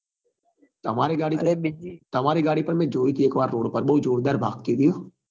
તમારી ગાડી તમારી ગાડી પણ મેં જોઈ હતી એક વાર રોડ પર બઉ જોરદાર ભાગતી હતી હો